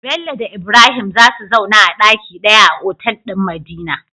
Bello da Ibrahim zasu zauna a daki daya a otal din madina